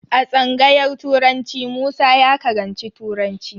A tsangayar turanci Musa ya karanci turanci.